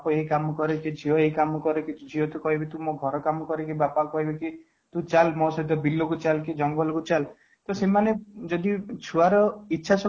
ଏଇ କାମ କରେ କି ଝିଅ ଏଇ କାମ କରେ ଝିଅ କୁ କହିଲେ କି ତୁ ଘର କାମ କରେ ବାପା କୁ କହିଲେ କି ତୁ ଚାଲ ମୋ ସହିତ ବିଲ କୁ ଚାଲ ତୁ ଜଙ୍ଗଲ କୁ ଚାଲ ତ ସେମାନେ ଯଦି ଛୁଆ ର ଇଛାଶକ୍ତି